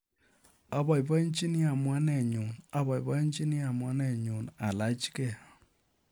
Apoipoichini amuanet nyu apoipoichini amuanet nyu alaachkei